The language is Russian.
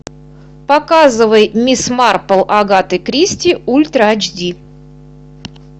показывай мисс марпл агаты кристи ультра эйч ди